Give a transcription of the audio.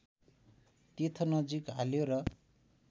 तीर्थनजिक हाल्यो र